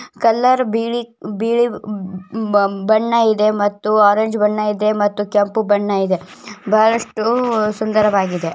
Colour ಬಿಳಿ ಬಿಳಿ ಬ ಬ ಬಣ್ಣ ಇದೆ ಮತ್ತು ಆರೆಂಜ್ ಬಣ್ಣ ಇದೆ ಮತ್ತು ಕೆಂಪು ಬಣ್ಣ ಇದೆ ಬಹಳಷ್ಟು ಸುಂದರವಾಗಿದೆ.